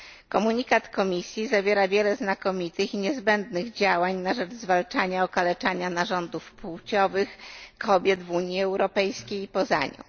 Komunikat Komisji zawiera wiele znakomitych i niezbędnych działań na rzecz zwalczania okaleczania narządów płciowych kobiet w Unii Europejskiej i poza nią.